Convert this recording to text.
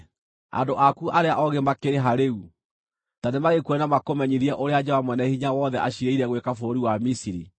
Andũ aku arĩa oogĩ makĩrĩ ha rĩu? Ta nĩmagĩkuonie na makũmenyithie ũrĩa Jehova Mwene-Hinya-Wothe aciirĩire gwĩka bũrũri wa Misiri.